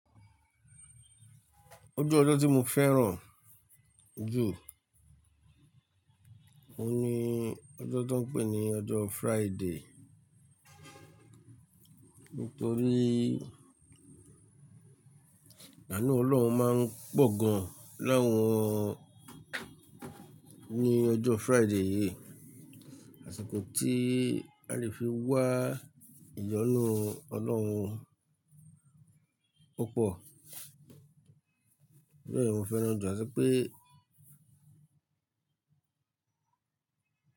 Ojú ojó tí mo fẹ́ràn jù òun ní ojó tí wón ń pè ní ojó Friday. Nítorí àánù Ọlọ́run máa ń pọ̀ gaan láwọn ní ojó Friday yìí. Àṣìkò tí a lè fi wá ìyónú Ọlọ́run púpọ̀. Bẹ́ẹ̀ ni mo fẹ́ràn jù, àti pé.